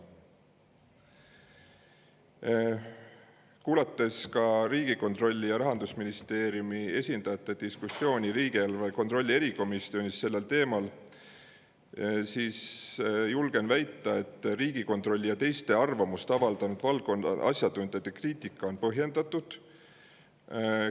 Olles kuulanud ka Riigikontrolli ja Rahandusministeeriumi esindajate diskussiooni riigieelarve kontrolli erikomisjonis sellel teemal, julgen väita, et Riigikontrolli ja teiste arvamust avaldanud valdkonna asjatundjate kriitika on põhjendatud.